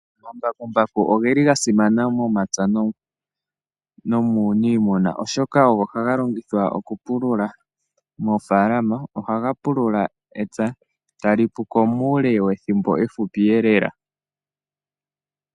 Omambakumbaku ogeli gasimana momapya nominiimuna oshoka, ogo ha ga longithwa okupulula moofaalama oha ga pulula epya talipuko muule wethimbo efupi e lela.